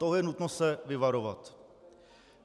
Toho je nutno se vyvarovat.